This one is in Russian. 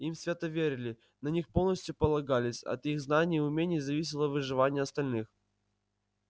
им свято верили на них полностью полагались от их знаний и умений зависело выживание остальных